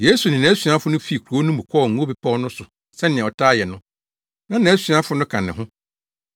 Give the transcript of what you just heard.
Yesu ne nʼasuafo no fii kurow no mu kɔɔ Ngo Bepɔw no so sɛnea ɔtaa yɛ no, na nʼasuafo no ka ne ho.